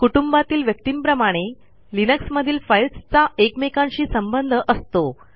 कुटुंबातील व्यक्तींप्रमाणे लिनक्समधील फाईलस् चा एकमेकांशी संबंध असतो